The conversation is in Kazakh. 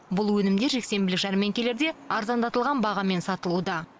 бұл өнімдер жексенбілік жәрмеңкелерде арзандатылған бағамен сатылуда